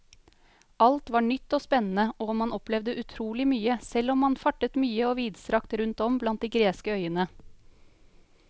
Alt var nytt og spennende og man opplevde utrolig mye, selv om man fartet mye og vidstrakt rundt om blant de greske øyene.